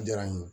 Diyara n ye